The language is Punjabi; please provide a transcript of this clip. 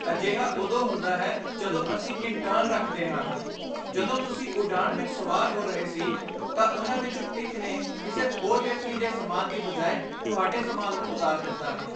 ਅਜਿਹਾ ਉਦੋਂ ਹੀ ਹੁੰਦਾ ਹੈ ਜਦੋਂ ਅਸੀਂ ਇੰਟਰਨ ਰੱਖਦੇ ਹਾਂ। ਜਦੋਂ ਤੁਸੀਂ ਉਡਾਣ ਵਿੱਚ ਸਵਾਰ ਹੋ ਰਹੇ ਸੀ ਤਾਂ ਉਨ੍ਹਾਂ ਵਿੱਚੋਂ ਇੱਕ ਨੇ ਕਿਸੇ ਹੋਰ ਵਿਅਕਤੀ ਦੇ ਸਮਾਨ ਦੀ ਬਜਾਏ ਤੁਹਾਡੇ ਸਮਾਨ ਨੂੰ ਉਤਾਰ ਦਿੱਤਾ।